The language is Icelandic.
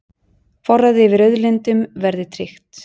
Forræði yfir auðlindum verði tryggt